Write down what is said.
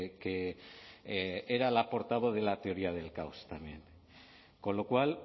que era la portavoz de la teoría del caos también con lo cual